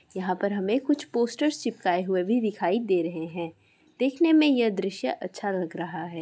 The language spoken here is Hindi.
यहाँ पर हमें कुछ पोस्टर चिपकाए हुए भी दिखाई दे रहे हैं| देखने में यह दृश्य अच्छा लग रहा है।